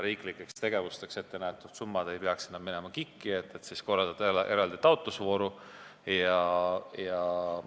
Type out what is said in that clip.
Riiklikeks tegevusteks ette nähtud summad ei peaks enam minema KIK-i, et seal siis eraldi taotlusvooru korraldada.